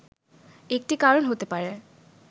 একটি কারণ হতে পারে